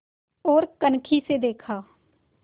ओर कनखी से देखा